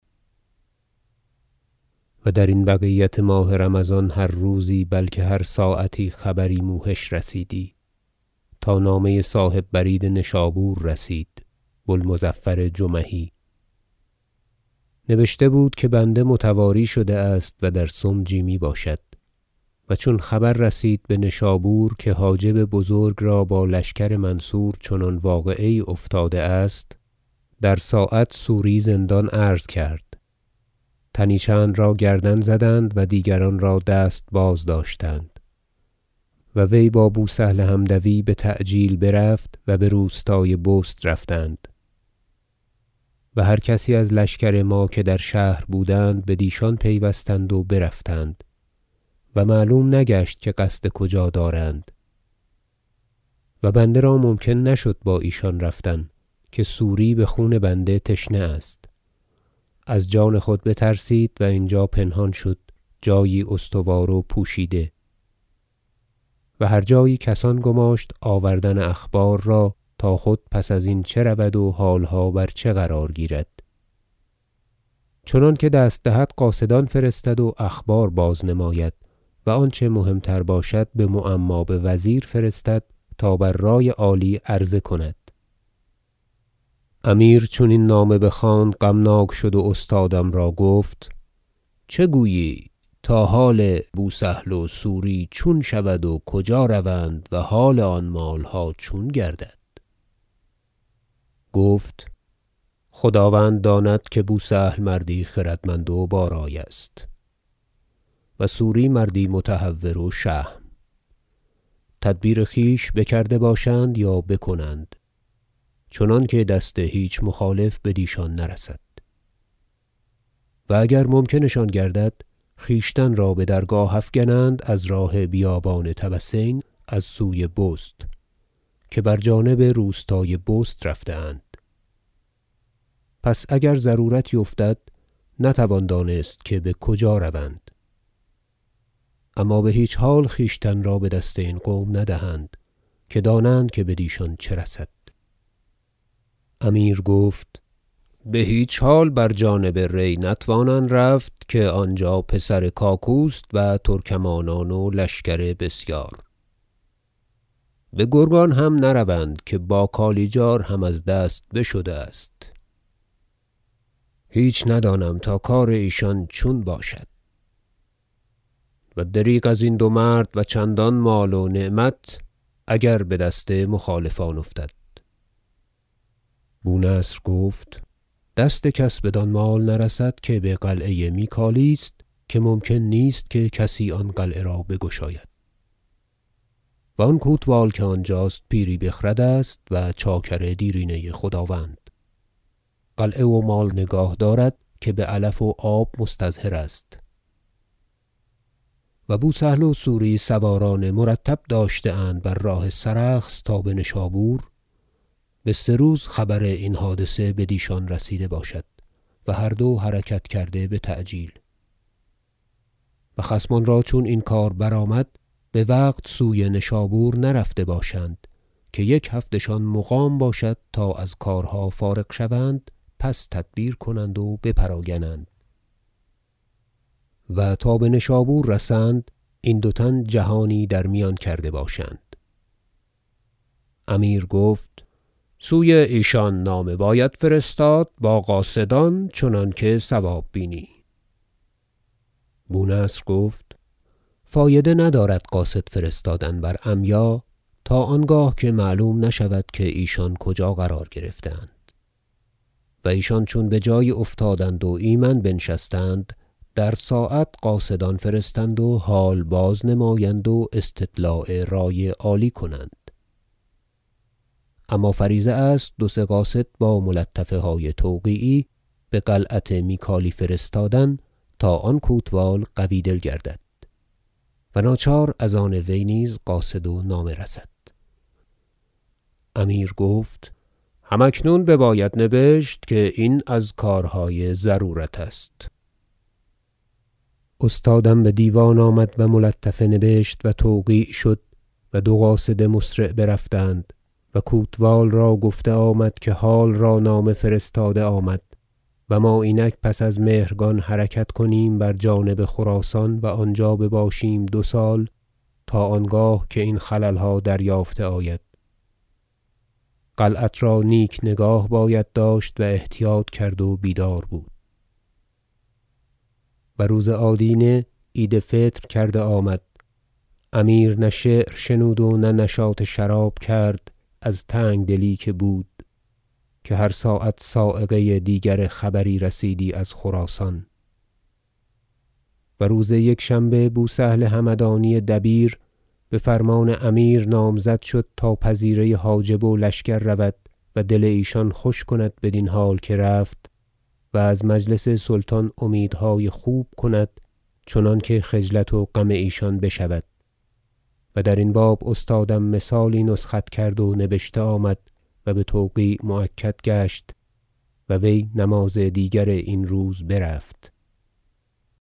و درین بقیت ماه رمضان هر روزی بلکه هر ساعتی خبری موحش رسیدی تا نامه صاحب برید نشابور رسید بو المظفر جمحی نبشته بود که بنده متواری شده است و در سمجی میباشد و چون خبر رسید بنشابور که حاجب بزرگ را با لشکر منصور چنان واقعه یی افتاده است در ساعت سوری زندان عرض کرد تنی چند را گردن زدند و دیگران را دست بازداشتند و وی با بو سهل حمدوی بتعجیل برفت و بروستای بست رفتند و هر کسی از لشکر ما که در شهر بودند بدیشان پیوستند و برفتند و معلوم نگشت که قصد کجا دارند و بنده را ممکن نشد با ایشان رفتن که سوری بخون بنده تشنه است از جان خود بترسید و اینجا پنهان شد جایی استوار و پوشیده و هر جایی کسان گماشت آوردن اخبار را تا خود پس ازین چه رود و حالها بر چه قرار گیرد چنانکه دست دهد قاصدان فرستد و اخبار باز نماید و آنچه مهم تر باشد بمعما بوزیر فرستد تا بر رای عالی عرضه کند امیر چون این نامه بخواند غمناک شد و استادم را گفت چه گویی تا حال بوسهل و سوری چون شود و کجا روند و حال آن مالها چون گردد گفت خداوند داند که بوسهل مردی خردمند و با رای است و سوری مردی متهور و شهم تدبیر خویش بکرده باشند یا بکنند چنانکه دست هیچ مخالف بدیشان نرسد و اگر ممکن شان گردد خویشتن را بدرگاه افگنند از راه بیابان طبسین از سوی بست که بر جانب روستای بست رفته اند پس اگر ضرورتی افتد نتوان دانست که بکجا روند اما بهیچ حال خویشتن را بدست این قوم ندهند که دانند که بدیشان چه رسد امیر گفت بهیچ حال بر جانب ری نتوانند رفت که آنجا پسر کاکوست و ترکمانان و لشکر بسیار بگرگان هم نروند که باکالیجار هم از دست بشده است هیچ ندانم تا کار ایشان چون باشد و دریغ ازین دو مرد و چندان مال و نعمت اگر بدست مخالفان افتد بونصر گفت دست کس بدان مال نرسد که بقلعه میکالی است که ممکن نیست که کسی آن قلعه را بگشاید و آن کوتوال که آنجاست پیری بخرد است و چاکر دیرینه خداوند قلعه و مال نگاه دارد که بعلف و آب مستظهر است و بوسهل و سوری سواران مرتب داشته اند بر راه سرخس تا بنشابور به سه روز خبر این حادثه بدیشان رسیده باشد و هر دو حرکت کرده بتعجیل و خصمان را چون این کار برآمد بوقت سوی نشابور نرفته باشند که یک هفته شان مقام باشد تا از کارها فارغ شوند پس تدبیر کنند و بپراگنند و تا بنشابور رسند این دو تن جهانی در میان کرده باشند امیر گفت سوی ایشان نامه باید فرستاد با قاصدان چنانکه صواب بینی بو نصر گفت فایده ندارد قاصد فرستادن بر عمیا تا آنگاه که معلوم نشود که ایشان کجا قرار گرفته- اند و ایشان چون بجایی افتادند و ایمن بنشستند در ساعت قاصدان فرستند و حال باز نمایند و استطلاع رای عالی کنند اما فریضه است دو سه قاصد با ملطفه های توقیعی بقلعت میکالی فرستادن تا آن کوتوال قوی دل گردد و ناچار از آن وی نیز قاصد و نامه رسد امیر گفت هم اکنون بباید نبشت که این از کارهای ضرورت است استادم بدیوان آمد و ملطفه نبشت و توقیع شد و دو قاصد مسرع برفتند و کوتوال را گفته آمد که حال را نامه فرستاده آمد و ما اینک پس از مهرگان حرکت کنیم بر جانب خراسان و آنجا بباشیم دو سال تا آنگاه که این خللها دریافته آید قلعت را نیک نگاه باید داشت و احتیاط کرد و بیدار بود و روز آدینه عید فطر کرده آمد امیر نه شعر شنود و نه نشاط شراب کرد از تنگدلی که بود که هر ساعت صاعقه دیگر خبری رسیدی از خراسان و روز یکشنبه بوسهل همدانی دبیر بفرمان امیر نامزد شد تا پذیره حاجب و لشکر رود و دل ایشان خوش کند بدین حال که رفت و از مجلس سلطان امیدهای خوب کند چنانکه خجلت و غم ایشان بشود و درین باب استادم مثالی نسخت کرد و نبشته آمد و بتوقیع مؤکد گشت و وی نماز دیگر این روز برفت